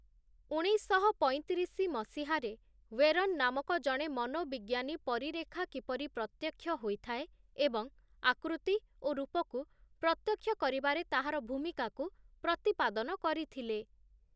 ଉଣେଇଶଶହ ପଇଁତିରିଶ ମସିହାରେ ୱେରନ୍ ନାମକ ଜଣେ ମନୋବିଜ୍ଞନୀ ପରିରେଖା କିପରି ପ୍ରତ୍ୟକ୍ଷ ହୋଇଥାଏ ଏବଂ ଆକୃତି ଓ ରୂପକୁ ପ୍ରତ୍ୟକ୍ଷ କରିବାରେ ତାହାର ଭୂମିକାକୁ ପ୍ରତିପାଦନ କରିଥିଲେ ।